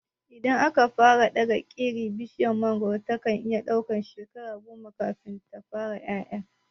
Idan aka fara daga iri, bishiyar mangoro tana iya ɗaukan shekara goma kafin ta fara ƴaƴa.